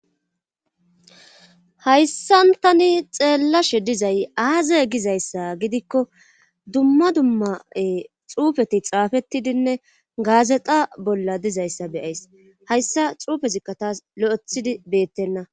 Hayssan tani xeellashe dizay aaze gizayssa gidikko dumma dummae xuufeti xaafettidinne gaazexa bolla dizayssa beyays hayssa xuufezikka taas lo7ethidi beettenna.